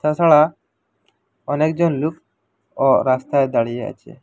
তাছাড়া অনেকজন লুক ও রাস্তায় দাঁড়িয়ে আছে।